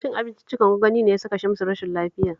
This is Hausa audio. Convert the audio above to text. Cin abinciccikan gwangwani ne ya saka Shamsu rashin lafiya